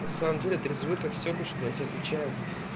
на самом деле трезвы как стёклышко я тебе отвечаю